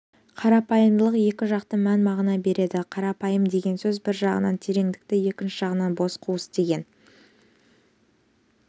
қарапайымдылық екі жақты мән-мағына береді қарапайым деген сөз бір жағынан тереңдікті екінші жағынан бос қуыс деген